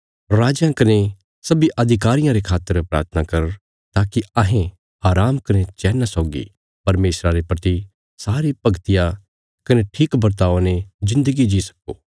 राजयां कने सब्बीं अधिकारियां रे खातर प्राथना कर ताकि अहें आराम कने चैना सौगी परमेशरा रे प्रति सारी भगतिया कने ठीक बर्तावा ने जिन्दगी जी सक्को